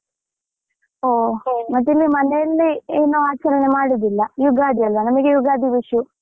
ಮತ್ತೆ ಇಲ್ಲಿ ಮನೆಯಲ್ಲಿ ಏನು ಆಚರಣೆ ಮಾಡುದಿಲ್ಲ, ಯುಗಾದಿಯಲ್ಲಾ ನಮಗೆ ಯುಗಾದಿ .